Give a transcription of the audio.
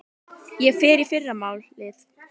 Ég fer í fyrramálið.